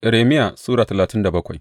Irmiya Sura talatin da bakwai